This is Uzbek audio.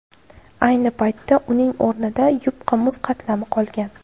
Ayni paytda uning o‘rnida yupqa muz qatlami qolgan.